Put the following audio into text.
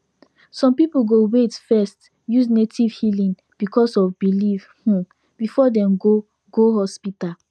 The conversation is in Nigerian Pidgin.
some people go wait first use native healing because of belief um before dem go go hospital